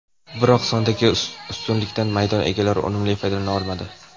Biroq sondagi ustunlikdan maydon egalari unumli foydalana olmadi.